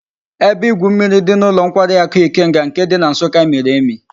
Ebe igwu mmiri di n'ulo nkwari aku Ikenga nke di na nsukka miri emi